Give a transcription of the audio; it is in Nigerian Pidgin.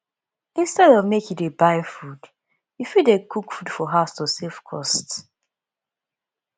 instead of make you dey buy food you fit dey cook food for house to save cost